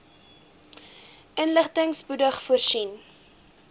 inligting spoedig voorsien